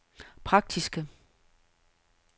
praktiske